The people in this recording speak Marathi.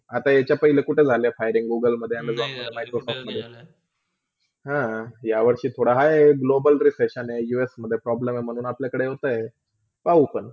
आता याचा पहिले कुठे झाले firinggoogle, Amazon, Microsoft हा, या वर्षी हाय थोडा globular री pressure us मधे Problem म्हणून आपल्याकडे होतय पाहू पण.